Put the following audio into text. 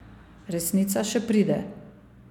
Resnica še pride.